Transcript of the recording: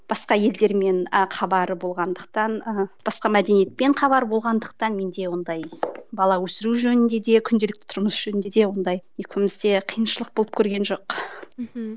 басқа елдермен ы хабары болғандықтан ы басқа мәдениетпен хабары болғандықтан менде ондай бала өсіру жөнінде де күнделікті тұрмыс жөнінде де ондай екеумізде қиыншылық болып көрген жоқ мхм